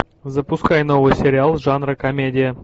запускай новый сериал жанра комедия